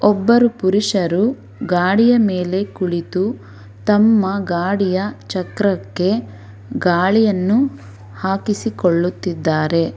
ಒಬ್ಬರು ಪುರುಷರು ಗಾಡಿಯ ಮೇಲೆ ಕುಳಿತು ತಮ್ಮ ಗಾಡಿಯ ಚಕ್ರಕ್ಕೆ ಗಾಳಿಯನ್ನು ಹಾಕಿಸಿಕೊಳ್ಳುತ್ತಿದ್ದಾರೆ.